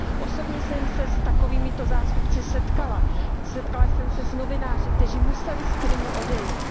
Osobně jsem se s takovýmito zástupci setkala, setkala jsem se s novináři, kteří museli z Krymu odejít.